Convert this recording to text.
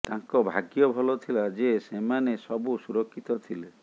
ତାଙ୍କ ଭାଗ୍ୟ ଭଲ ଥିଲା ଯେ ସେମାନେ ସବୁ ସୁରକ୍ଷିତ ଥିଲେ